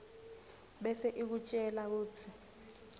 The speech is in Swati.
bese ikutjela kutsi